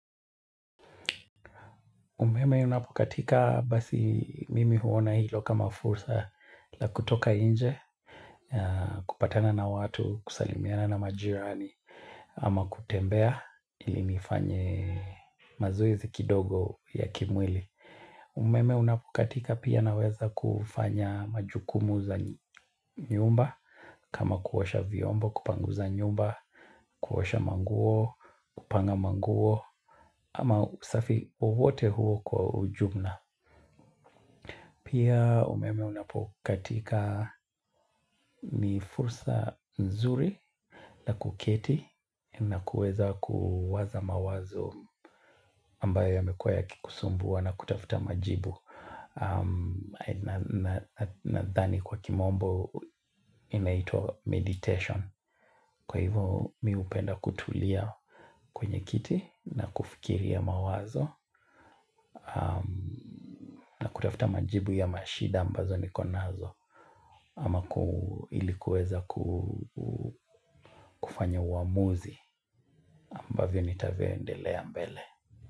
Umeme inapokatika basi mimi huona hilo kama fursa la kutoka nje, kupatana na watu, kusalimiana na majirani ama kutembea ili nifanye mazoezi kidogo ya kimwili. Umeme unapokatika pia naweza kufanya majukumu za nyumba kama kuosha vyombo, kupanguza nyumba, kuosha manguo, kupanga manguo ama usafi wowote huo kwa ujumna. Pia umeme unapokatika ni fursa nzuri na kuketi na kueza kuwaza mawazo ambayo yamekua yakikusumbua na kutafuta majibu nadhani kwa kimombo inaitwa meditation. Kwa hivo mi hupenda kutulia kwenye kiti na kufikiria mawazo na kutafuta majibu ya mashida ambazo niko nazo ama ilikuweza kufanya uamuzi ambavyo nitavyoendelea mbele.